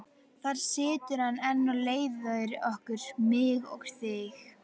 Þar situr hann enn og leiðir okkur, mig og þig.